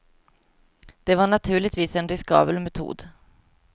Det var naturligtvis en riskabel metod.